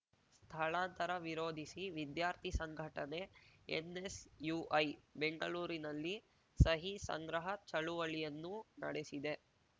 ಸ್ಥಳಾಂತರ ವಿರೋಧಿಸಿ ವಿದ್ಯಾರ್ಥಿ ಸಂಘಟನೆ ಎನ್‌ಎಸ್‌ಯುಐ ಬೆಂಗಳೂರಿನಲ್ಲಿ ಸಹಿ ಸಂಗ್ರಹ ಚಳವಳಿಯನ್ನೂ ನಡೆಸಿದೆ